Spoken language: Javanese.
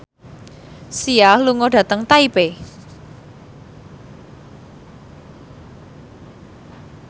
Sia lunga dhateng Taipei